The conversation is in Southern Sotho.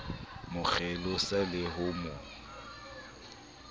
mo kgelosa le ho mo